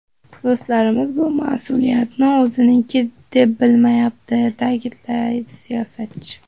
Do‘stlarimiz bu mas’uliyatni o‘ziniki deb bilmayapti”, ta’kidladi siyosatchi.